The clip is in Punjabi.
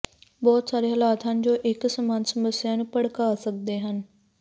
ਬਹੁਤ ਸਾਰੇ ਹਾਲਾਤ ਹਨ ਜੋ ਇੱਕ ਸਮਾਨ ਸਮੱਸਿਆ ਨੂੰ ਭੜਕਾ ਸਕਦੇ ਹਨ